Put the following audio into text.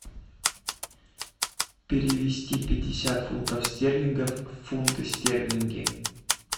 перевести пятьдесят фунтов стерлингов в фунты стерлинги